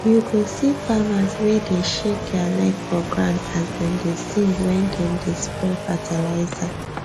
you go see farmers wey dey shake their leg for ground as dem dey sing wen dem dey spray fertilizer